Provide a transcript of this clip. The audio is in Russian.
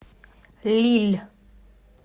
лилль